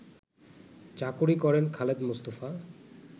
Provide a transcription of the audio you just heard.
চাকুরী করেন খালেদ মোস্তফা